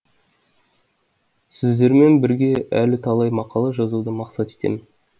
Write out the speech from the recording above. сіздермен бірге әлі талай мақала жазуды мақсат етемін